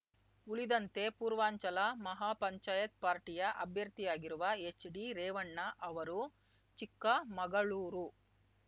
ಉಳಿದಂತೆ ಪೂರ್ವಾಂಚಲ ಮಹಾಪಂಚಾಯತ್‌ ಪಾರ್ಟಿಯ ಅಭ್ಯರ್ಥಿಯಾಗಿರುವ ಎಚ್‌ಡಿರೇವಣ್ಣ ಅವರು ಚಿಕ್ಕಮಗಳೂರು